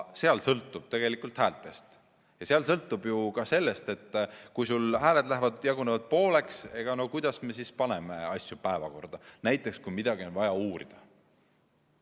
Palju sõltub tegelikult häältest ja kui hääled jagunevad pooleks, kuidas me siis paneme asju päevakorda, näiteks kui midagi on vaja uurida?